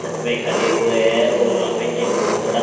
छत पे खड़े हुए हैं और यहां पे एक बहोत बड़ा--